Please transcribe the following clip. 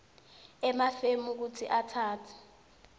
emafemu kutsi atsatse